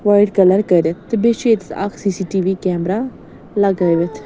.white کلرکٔرِتھ تہٕ بیٚیہِ چُھ ییٚتٮ۪تھ اکھ C C T V camera لگٲوِتھ